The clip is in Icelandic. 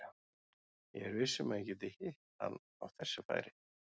Ég er viss um að ég gæti hitt hann á þessu færi.